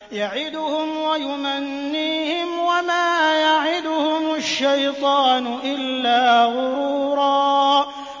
يَعِدُهُمْ وَيُمَنِّيهِمْ ۖ وَمَا يَعِدُهُمُ الشَّيْطَانُ إِلَّا غُرُورًا